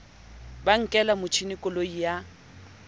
ba nkela motjhesi koloi ya